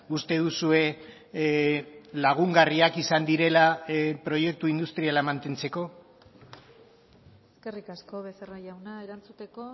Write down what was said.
uste duzue lagungarriak izan direla proiektu industriala mantentzeko eskerrik asko becerra jauna erantzuteko